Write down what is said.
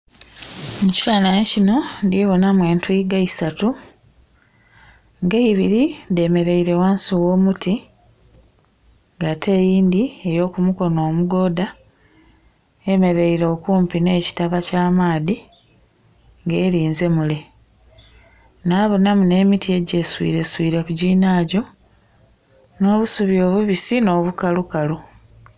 Mu kifanhanhi kinho ndi bonhamu etwiiga isatu nga eibili dhemeleile ghansi agh'omuti nga ate eyindhi ey'oku mukono omugoodha eyemeleile okumpi nh'ekitaba ky'amaadhi nga elinze mule. Nabonhamu nh'emiti egyeswileswile ku ginhagyo nh'obusubi obubisi nh'obukalu